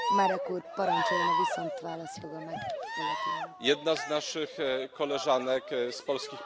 Jedna z naszych koleżanek, z polskich posłanek, ma holenderskie nazwisko, a inna niemieckie.